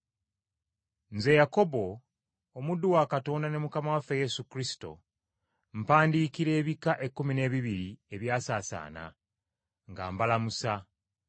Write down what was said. Nze Yakobo, omuddu wa Katonda ne Mukama waffe Yesu Kristo, mpandiikira ebika ekkumi n’ebibiri ebyasaasaana, nga mbalamusa.